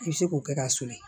I bɛ se k'o kɛ k'a sulon